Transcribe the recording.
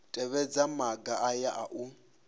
tevhedza maga aya a u